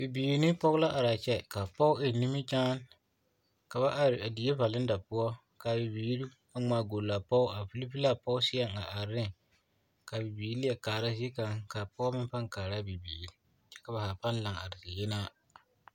Bibiiri ne pɔge la are a kyɛ ka a pɔge eŋ nimikyane ka ba are a die vareda poɔ ka a Bibiiri a ŋmaa goli a pɔge a vilvili a Pɔge seɛŋ a are neŋ a Bibiiri leɛ kaara zie kaŋa ka a pɔge meŋ paa kaara a bibiiri kyɛ ka ba zaa paa laŋ are ziyenaa.